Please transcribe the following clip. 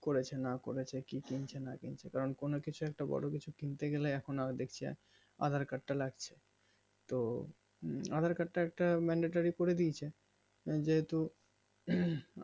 করেছে না করেছে কি কিনছে না কিনছে কারণ কোনো কিছু একটা বড়ো কিছু একটা কিনতে গেলে এখন আর দেখছে aadhaar card তা লাগছে তো aadhaar card তা একটা মেলেটারি করেদিয়েছে যেহেতু